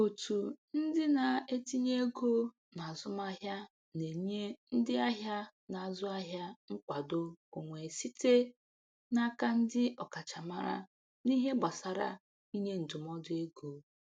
Otu ndị na-etinye ego n'azụmahịa na-enye ndị ahịa na-azụ ahịa nkwado onwe site n'aka ndị ọkachamara n'ihe gbasara inye ndụmọdụ ego.